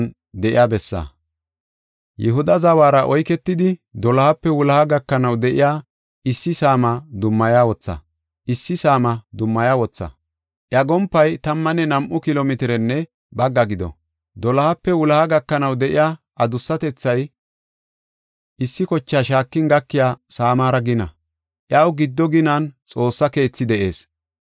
“Yihuda zawara oyketidi, dolohape wuloha gakanaw de7iya issi saama dummaya wotha. Iya gompay tammanne nam7u kilo mitirenne bagga gido. Dolohape wuloha gakanaw de7iya adussatethay issi kochaa shaakin gakiya saamara gina. Iyaw giddo ginan Xoossa keetha de7ees.